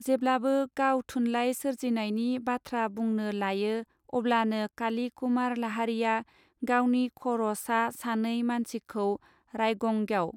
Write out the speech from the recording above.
जेब्लाबो गाव थुनलाइ सोरजिनायनि बाथ्रा बुंनो लायो अब्लानो काली कुमार लाहारीया गावनि खर सा सानै मानसिखौ रायगंग्याव.